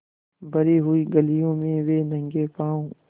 भरी हुई गलियों में वे नंगे पॉँव स्